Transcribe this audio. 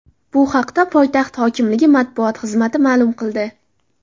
Bu haqda poytaxt hokimligi matbuot xizmati ma’lum qildi .